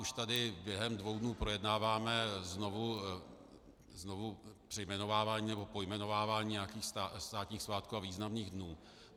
Už tady během dvou dnů projednáváme znovu přejmenovávání nebo pojmenovávání nějakých státních svátků a významných dnů.